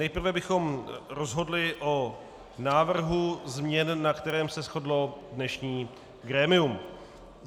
Nejprve bychom rozhodli o návrhu změn, na kterém se shodlo dnešní grémium.